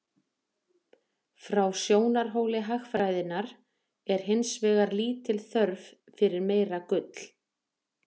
Frá sjónarhóli hagfræðinnar er hins vegar lítil þörf fyrir meira gull.